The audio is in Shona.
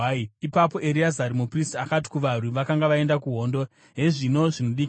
Ipapo Ereazari muprista akati kuvarwi vakanga vaenda kuhondo, “Hezvino zvinodikanwa